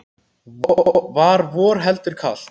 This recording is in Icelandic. Var vor heldur kalt.